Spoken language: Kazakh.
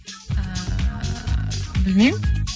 ыыы білмеймін